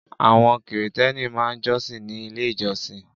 Àwọn Kìrìtẹ́ẹ́nì máa ń jọ́sìn ní Ilé-ìjọsìn.